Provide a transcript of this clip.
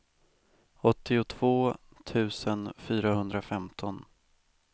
åttiotvå tusen fyrahundrafemton